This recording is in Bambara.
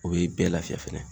O be bɛɛ lafiya fɛnɛ